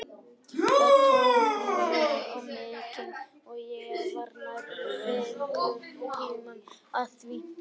Það tók mjög á mig og ég var nærri fimm klukkutíma að því.